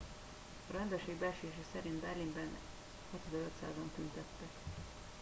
a rendőrség becslése szerint berlinben 6500 an tüntettek